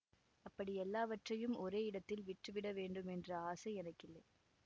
அப்படி எல்லாவற்றையும் ஒரே இடத்தில் விற்று விட வேண்டுமென்ற ஆசை எனக்கில்லை